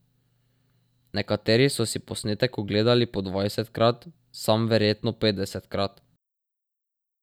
Nekateri so si posnetek ogledali po dvajsetkrat, sam verjetno petdesetkrat.